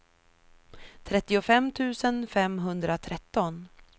trettiofem tusen femhundratretton